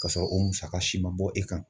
Ka sɔrɔ o musaka si ma bɔ e kan.